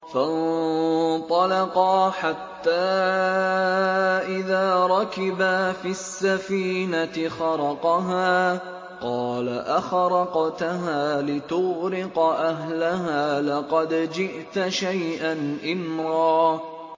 فَانطَلَقَا حَتَّىٰ إِذَا رَكِبَا فِي السَّفِينَةِ خَرَقَهَا ۖ قَالَ أَخَرَقْتَهَا لِتُغْرِقَ أَهْلَهَا لَقَدْ جِئْتَ شَيْئًا إِمْرًا